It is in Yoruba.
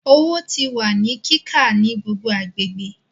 Owo ti wa ni ka ni gbogbo agbegbe